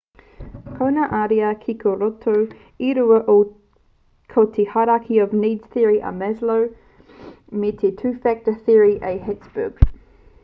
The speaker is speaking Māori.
ko ngā ariā kiko rorotu e rua ko te hierarchy of needs theory a maslow me te two factor theory a hertzberg